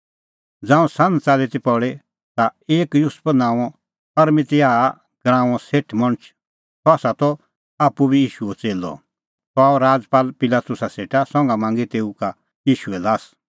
ज़ांऊं सान्ह च़ाल्ली ती पल़ी ता एक युसुफ नांओं अरमतियाह गराऊंओ सेठ मणछ सह त आप्पू बी ईशूओ च़ेल्लअ सह आअ राजपाल पिलातुसा सेटा संघा मांगी तेऊ का ईशूए ल्हास